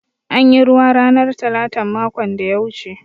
An yi ruwa ranar talatan makon da ya wuce.